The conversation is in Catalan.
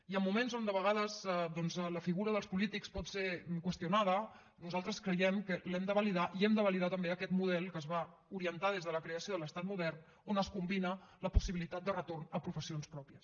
i en moments en què de vegades doncs la figura dels polítics pot ser qüestionada nosaltres creiem que l’hem de validar i hem de validar també aquest model que es va orientar des de la creació de l’estat modern on es combina la possibilitat de retorn a professions pròpies